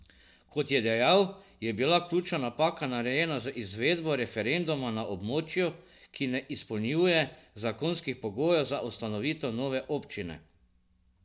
Kot je dejal, je bila ključna napaka narejena z izvedbo referenduma na območju, ki ne izpolnjuje zakonskih pogojev za ustanovitev nove občine.